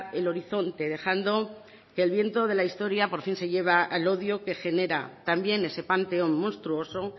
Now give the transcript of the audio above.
el horizonte dejando que el viento de la historia por fin se lleva el odio que genera también ese panteón monstruoso